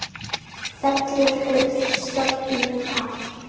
Fellur hurðin stafnum að.